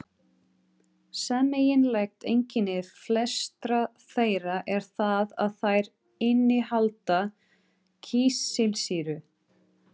Sameiginlegt einkenni flestra þeirra er það að þær innihalda kísilsýru